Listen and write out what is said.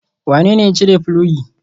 Wanene ya cire filogi?